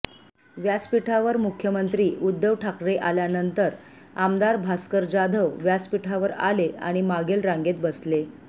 व्यासपीठावर मुख्यमंत्री उद्धव ठाकरे आल्यानंतर आमदार भास्कर जाधव व्यासपीठावर आले आणि मागील रांगेत बसले